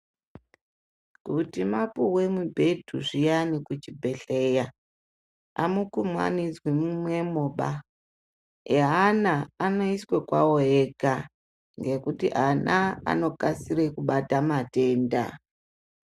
Kuti mapuwe mubhedhu zviyani kuchibhedhleya amukumanidzwi mumwemoba eana anoiswa kwawo ega ngekuti ana anokasire kubata matenda.